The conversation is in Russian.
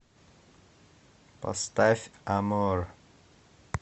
поставь амор